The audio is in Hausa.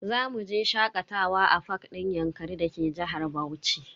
Zamu je shakatawa a fak din yankari da ke jihar Bauchi.